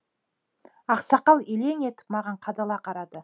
ақсақал елең етіп маған қадала қарады